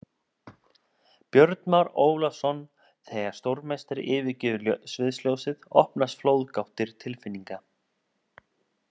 Björn Már Ólafsson Þegar stórmeistari yfirgefur sviðsljósið opnast flóðgáttir tilfinninga.